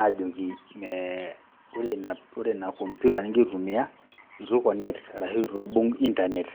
aajoki mee ore ina komputa ning'ira aitumia itu iconnect arashu itu ibung' intanet.